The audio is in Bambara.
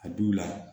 A du la